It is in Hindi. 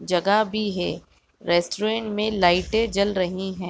जगह भी है रेस्टोरेंट में लाइटें जल रही हैं।